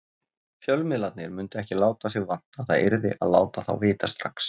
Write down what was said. Fjölmiðlarnir mundu ekki láta sig vanta, það yrði að láta þá vita strax.